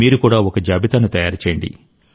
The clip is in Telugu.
మీరు కూడా ఒక జాబితాను తయారు చేయండి